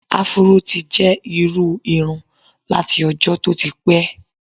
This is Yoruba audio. Afuró ti jẹ́ irú irun láti ọjọ́ tó ti pẹ́.